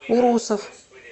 урусов